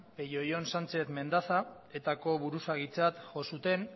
peio ion sánchez mendaza eta ko buruzagitzat jo zuten